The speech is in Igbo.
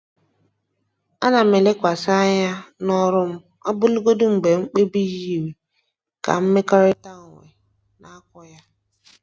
Ana m elekwasị anya n'ọrụ m ọbụlagodi mgbe mkpebi yiri ka mmekọrịta onwe na-akwọ ya.